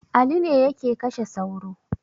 Ali ne yake kashe sauro